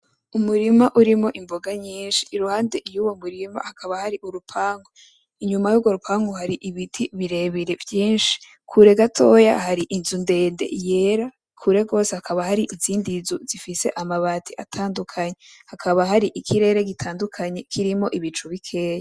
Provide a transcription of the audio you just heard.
Umurima urimwo imboga nyinshi. Iruhande y'uwo murima hakaba hari urupangu. Inyuma y'uwo rupangu hakaba hari ibiti birebire vyinshi. Kure gatoya hari inzu ndende yera, kure gose hakaba hari izindi nzu zifise amabati atandukanye. Hakaba hari ikirere gitandukanye kirimwo ibicu bikeya.